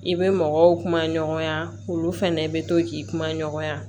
I bɛ mɔgɔw kuma ɲɔgɔnya olu fɛnɛ bɛ to k'i kuma ɲɔgɔnya